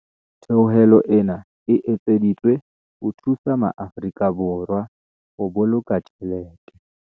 Theolelo ena e etseditswe ho thusa maAfori ka Borwa ho boloka tjhelete.